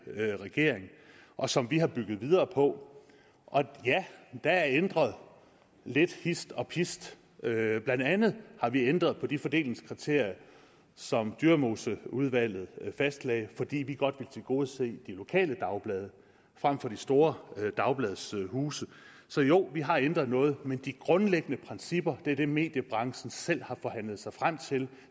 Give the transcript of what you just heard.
regering og som vi har bygget videre på og ja der er ændret lidt hist og pist blandt andet har vi ændret på de fordelingskriterier som dyremoseudvalget fastlagde fordi vi godt vil tilgodese de lokale dagblade frem for de store dagbladshuse så jo vi har ændret noget men de grundlæggende principper er dem som mediebranchen selv har forhandlet sig frem til